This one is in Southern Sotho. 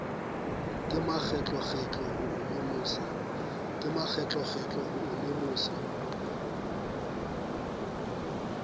ka makgetlokgetlo ho o lemosa